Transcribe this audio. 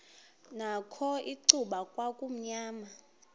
nakho icuba kwakumnyama